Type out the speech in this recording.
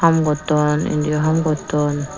haam gotton indiyo haam gotton.